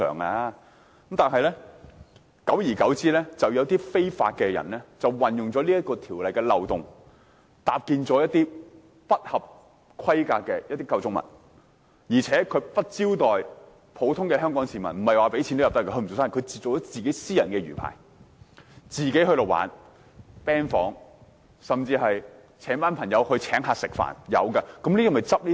然而，久而久之，有些不法人士利用條例漏洞，搭建一些不合規格的構築物，而且不招待香港普通市民，不是付入場費便可以進入，它只是一個私人魚排，供自己玩樂、開 band 房，甚至邀請一群朋友請客吃飯，然後從中收費。